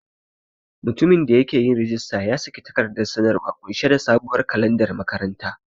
Mutumin da yake yin rajista ya saki takardar sanarwa ƙunshe da sabuwar kalandar makaranta.